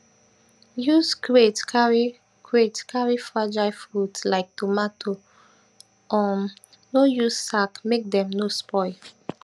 use crate carry crate carry fragile fruit like tomato um no use sack make dem no spoil